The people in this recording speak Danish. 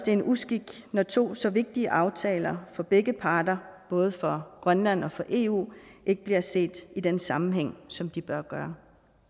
er en uskik når to så vigtige aftaler for begge parter både for grønland og for eu ikke bliver set i den sammenhæng som de bør